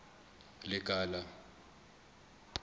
lekala